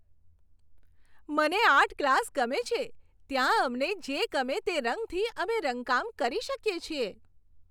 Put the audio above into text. મને art class ગમે છે. ત્યાં અમને જે ગમે તે રંગથી અમે રંગકામ કરી શકીએ છીએ.